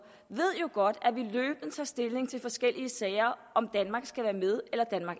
jo godt at vi løbende tager stilling til forskellige sager om danmark skal være med